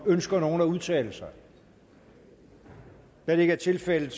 ønsker nogen at udtale sig da det ikke er tilfældet